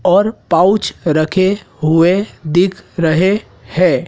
और पाउच रखे हुए दिख रहे है।